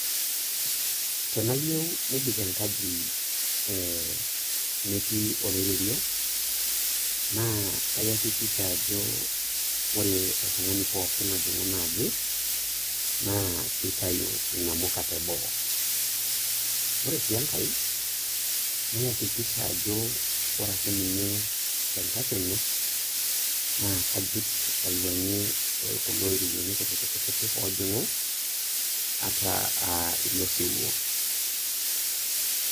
Tenaa iyieu nebik enkaji, metii oloiterio, naa kayakikisha Ajo ore oltungani pookin ojing'u inaaji naa kitayu inamuka teboo, ore sii enkae, nayakikisha ajo ore ake ninye tenkakenya naa kajut ,aiwuangie kulo oiterioni kutitik oojing'u ata ilo siwuo.